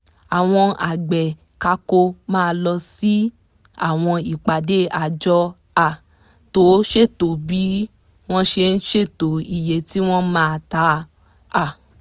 àwọn àgbẹ̀ kákó máa lọ sí àwọn ìpàdé àjọ um tó ṣètò bí wọ́n ṣe ṣètò iye tí wọ́n máa ta um